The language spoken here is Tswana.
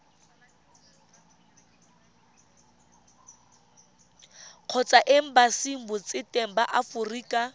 kgotsa embasing botseteng ba aforika